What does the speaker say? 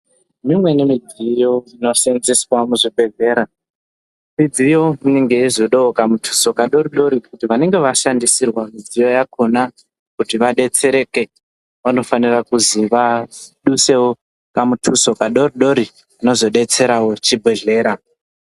Mimweni midziyo dzino seenzeswa muzvibhehlera midziyo inenge yeizodawo kamutuso kadoridori kuti vanenge vashandisirwa midziyo yakona kuti vadetsereke, vanofanira kuzi vadusewo kamutuso kadoridori kano zodetserawo chibhehlera.